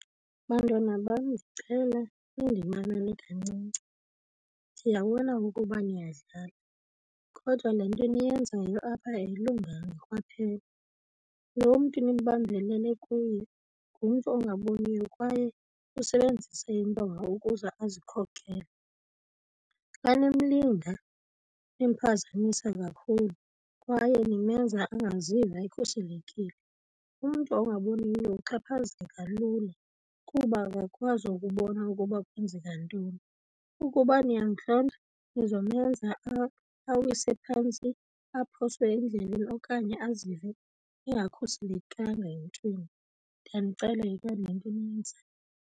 Bantwana bam, ndicela nindimamele kancinci. Ndiyabona ukuba niyadlala kodwa le nto niyenzayo apha ayilunganga kwaphela. Lo mntu nibambelele kuye ngumntu ongaboniyo kwaye usebenzisa intonga ukuze ezikhokhele, xa nimlinga nimphazamisa kakhulu kwaye nimenza angaziva ekhuselekile. Umntu ongaboniyo uxhaphazeka lula kuba akakwazi ukubona ukuba kwenzeka ntoni. Ukuba niyamntlonta nizomenza awise phantsi aphoswe endleleni okanye azive engakhuselekanga emntwini, ndiyanicela yekani le nto niyenzayo.